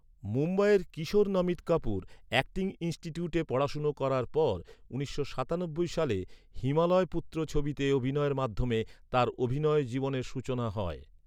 মুম্বইয়ের কিশোর নমিত কাপুর অ্যাক্টিং ইন্সটিটিউটে পড়াশুনা করার পর, উনিশশো সাতানব্বই সালে "হিমালয় পুত্র" ছবিতে অভিনয়ের মাধ্যমে, তাঁর অভিনয় জীবনের সূচনা হয়।